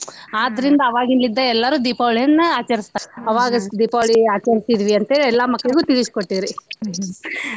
ತುಂಬ್ಸಿದ್ರಂತ್ರಿ ಆದ್ದರಿಂದ ಅವಾಗಿನ್ಲಿದ್ದ ಎಲ್ಲರೂ ದೀಪವಳಿಯನ್ನ ಆಚರಸ್ತಾರ ಆವಾಗ ದೀಪಾವಳಿ ಆಚರ್ಸೀದ್ವಿ ಅಂತೇಳಿ ಎಲ್ಲಾ ಮಕ್ಕಳ್ಗೂ ತೀಳ್ಸಿ ಕೊಟ್ಟೇವ್ರಿ.